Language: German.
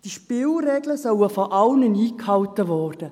Diese Spielregeln sollen von allen eingehalten werden.